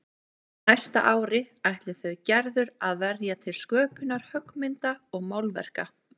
Næsta ári ætli þau Gerður að verja til sköpunar höggmynda og málverka.